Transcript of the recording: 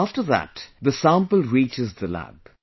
After that the sample reaches the lab